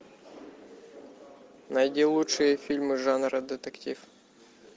найди лучшие фильмы жанра детектив